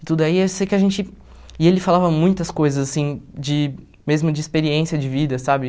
E tudo aí, eu sei que a gente... E ele falava muitas coisas, assim, de... Mesmo de experiência de vida, sabe?